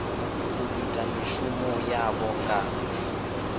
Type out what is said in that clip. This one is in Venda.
u ita mishumo yavho nga